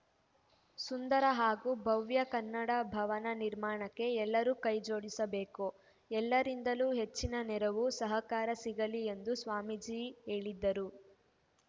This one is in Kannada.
ಸುಂದರ ಹಾಗೂ ಭವ್ಯ ಕನ್ನಡ ಭವನ ನಿರ್ಮಾಣಕ್ಕೆ ಎಲ್ಲರೂ ಕೈ ಜೋಡಿಸಬೇಕು ಎಲ್ಲರಿಂದಲೂ ಹೆಚ್ಚಿನ ನೆರವು ಸಹಕಾರ ಸಿಗಲಿ ಎಂದು ಸ್ವಾಮೀಜಿ ಹೇಳಿದರು